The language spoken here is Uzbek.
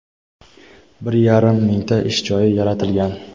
bir yarim mingta ish joyi yaratilgan.